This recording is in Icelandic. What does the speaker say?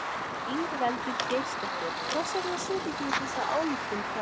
Ingveldur Geirsdóttir: Hvers vegna setjið þið þessa ályktun fram?